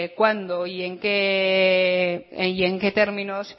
cuándo y en qué términos